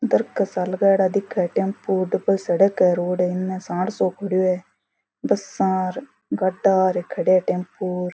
दरकत सा लगाईड़ा दिखे टेम्पू डबल सड़क है रोड है इनमे सांड सो खडियो है बसा गाड़ा र खड़िया है टेम्पू --